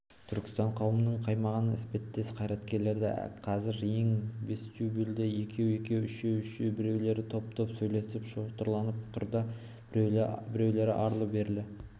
түркістан қауымының қаймағы іспеттес қайраткерлері қазір кең вестюбльде екеу-екеу үшеу-үшеу біреулері топ-топ сөйлесіп шотырланып тұр да біреулері арлы-берлі